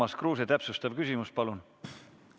Urmas Kruuse, täpsustav küsimus, palun!